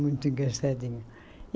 Muito engraçadinho.